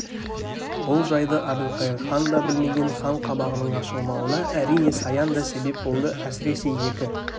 бұл жайды әбілқайыр хан да білмеген хан қабағының ашылмауына әрине саян да себеп болды әсіресе екі